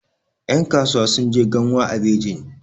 yankasuwa sun je ganwa a bejin